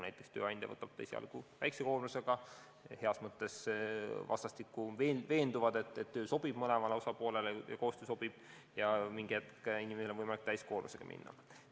Näiteks tööandja võtab ta esialgu tööle väikese koormusega, nad vastastikku veenduvad, et koostöö sobib mõlemale osapoolele, ja mingi hetk on inimesel võimalik täiskoormusega tööle minna.